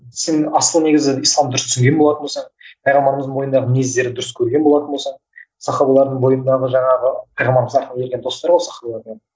сен асылы негізі ислам дұрыс түсінген болатын болсаң пайғамбарымыздың бойындағы мінездерді дұрыс көрген болатын болсаң сахабалардың бойындағы жаңағы